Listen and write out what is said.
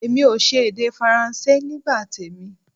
Èmi ò ṣe èdè Faransé nígbà tèmi